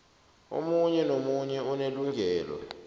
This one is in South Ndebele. omunye nomunye unelungelo